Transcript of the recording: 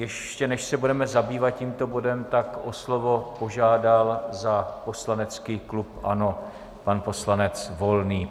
Ještě než se budeme zabývat tímto bodem, tak o slovo požádal za poslanecký klub ANO pan poslanec Volný.